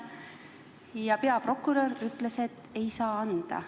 Ja peaprokurör ütles, et ei saa anda.